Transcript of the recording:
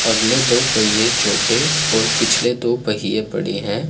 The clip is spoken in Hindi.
अगले दो पहिए छोटे और पिछले दो पहिए बड़े हैं।